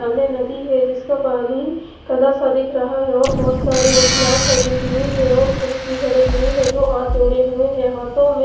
सामने नदी है जिसका पानी कला सा दिख रहा है और बहोत सारे महिलाये खड़ी हुई है और पुरुष भी खडे हुए है जो हाथ जोड़े हुए है और हाथो में--